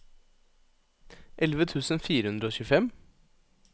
elleve tusen fire hundre og tjuefem